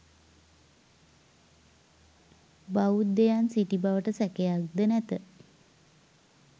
බෞද්ධයන් සිටි බවට සැකයක්ද නැත.